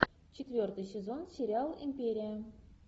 четвертый сезон сериал империя